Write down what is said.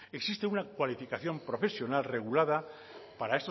existe una cualificación profesional regulada para